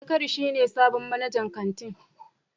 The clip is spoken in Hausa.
Zakari shi ne sabon manajan kantin.